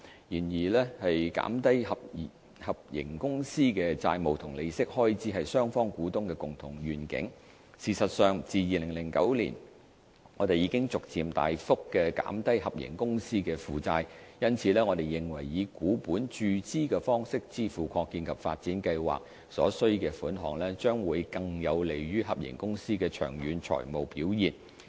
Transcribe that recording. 然而，減低合營公司的債務及利息開支是雙方股東的共同願景，事實上自2009年我們已逐漸大幅降低合營公司的負債，因此我們認為以股本注資的方式支付擴建及發展計劃所需的款額，將會更有利於合營公司的長遠財務表現。